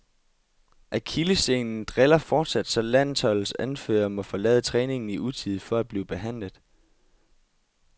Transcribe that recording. Akillessenen driller fortsat, så landsholdets anfører måtte forlade træningen i utide for at blive behandlet.